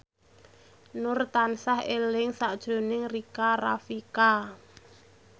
Nur tansah eling sakjroning Rika Rafika